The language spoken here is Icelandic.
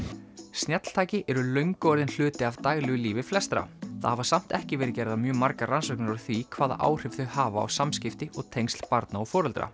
snjalltæki eru löngu orðin hluti af daglegu lífi flestra það hafa samt ekki verið gerðar mjög margar rannsóknir á því hvaða áhrif þau hafa á samskipti og tengsl barna og foreldra